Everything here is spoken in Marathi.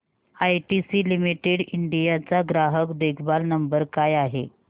आयटीसी लिमिटेड इंडिया चा ग्राहक देखभाल नंबर काय आहे